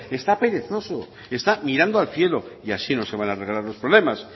está perezoso está mirando al cielo y así no se van a arreglar los problemas